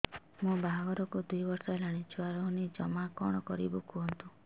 ମୋ ବାହାଘରକୁ ଦୁଇ ବର୍ଷ ହେଲାଣି ଛୁଆ ରହୁନି ଜମା କଣ କରିବୁ କୁହନ୍ତୁ